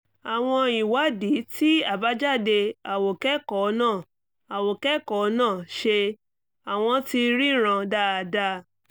àwọn ìwádìí tí àbájáde àwòkẹ́kọ̀ọ́ náà àwòkẹ́kọ̀ọ́ náà ṣe: àwọ̀n ti ríran dáadáa